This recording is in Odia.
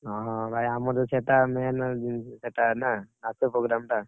ହଁ, ହଁ ଭାଇ ଆମର ତ ସେଟା main ସେଟା ନା, ନାଚ program ଟା।